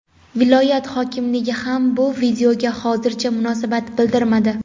Viloyat hokimligi ham bu videoga hozircha munosabat bildirmadi.